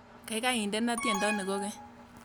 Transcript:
Gaigai indene tyendo ni kogeny